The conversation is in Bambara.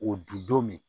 O du don min